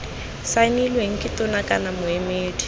saenilweng ke tona kana moemedi